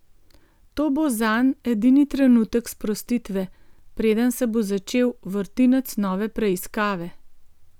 To bo zanj edini trenutek sprostitve, preden se bo začel vrtinec nove preiskave.